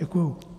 Děkuji.